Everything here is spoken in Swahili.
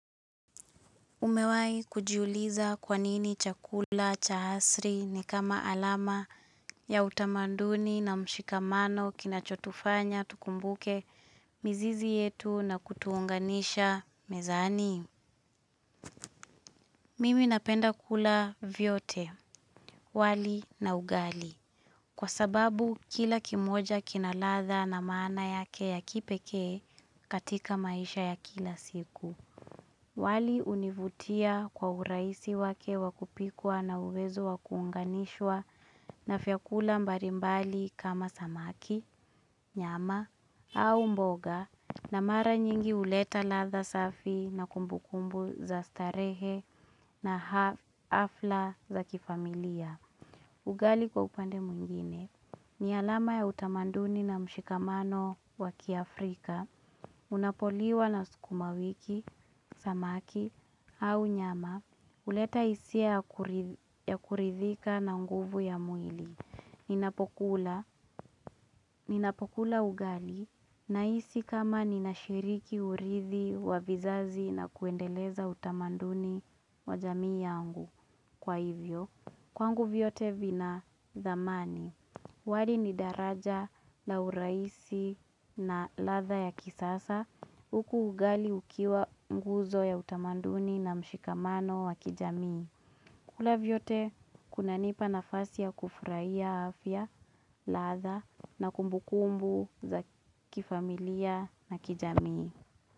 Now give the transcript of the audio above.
Umewai kujiuliza kwanini chakula cha hasri ni kama alama ya utamanduni na mshikamano kinachotufanya tukumbuke mizizi yetu na kutuunganisha mezani. Mimi napenda kula vyote, wali na ugali. Kwa sababu kila kimoja kinaladha na maana yake ya kipekee katika maisha ya kila siku. Wali univutia kwa uraisi wake wakupikwa na uwezo wakuunganishwa na vyakula mbalimbali kama samaki, nyama au mboga na mara nyingi uleta ladha safi na kumbukumbu za starehe na hafla za kifamilia. Ugali kwa upande mwingine, ni alama ya utamanduni na mshikamano waki Afrika, unapoliwa na sukuma wiki, samaki, au nyama, uleta hisia ya kuridhika na nguvu ya mwili ninapokula Ninapokula ugali na hisi kama ninashiriki urithi wa vizazi na kuendeleza utamanduni wa jamii yangu kwa hivyo. Kwangu vyote vina thamani. Wali ni daraja la uraisi na latha ya kisasa. Uku ugali ukiwa mguzo ya utamanduni na mshikamano wa kijamii. Kula vyote kuna nipa nafasi ya kufurahia afya, latha na kumbukumbu za kifamilia na kijamii.